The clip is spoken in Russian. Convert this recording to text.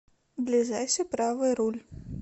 ближайший правый руль